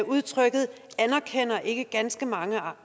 udtrykket anerkender ikke ganske mange